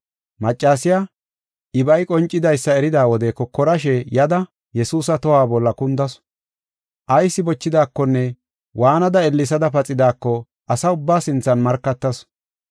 Maccasiya, ibay qoncidaysa erida wode kokorashe yada Yesuusa tohuwa bolla kundasu. Ayis bochidaakonne waanada ellesada paxidaako asaa ubbaa sinthan markatasu.